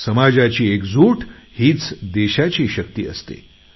समाजाची एकजूट हीच देशाची शक्ती असते